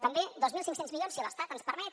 també dos mil cinc cents milions si l’estat ens permet